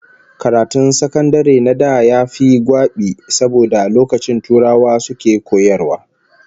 Karatun sakandare na da yafi gwabi saboda lokacin turawa suke koyarwa